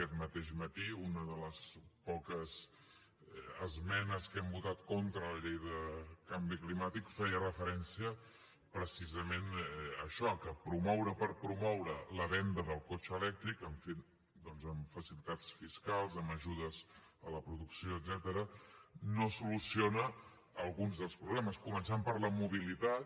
aquest mateix matí una de les poques esmenes que hem votat contra la llei de canvi climàtic feia referència precisament a això que promoure per promoure la venda del cotxe elèctric doncs amb facilitats fiscals amb ajudes a la producció etcètera no soluciona alguns dels problemes començant per la mobilitat